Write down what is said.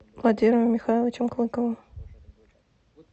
владимиром михайловичем клыковым